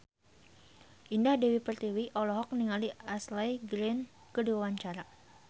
Indah Dewi Pertiwi olohok ningali Ashley Greene keur diwawancara